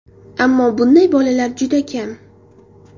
Ammo bunday bolalar juda kam.